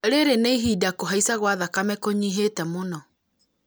rĩrĩ nĩ ihinda kũhaica gwa thakame kũnyihĩte mũno